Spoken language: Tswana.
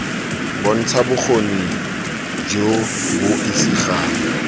bontsha bokgoni jo bo isegang